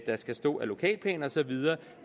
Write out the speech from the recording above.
skal stå i lokalplaner og så videre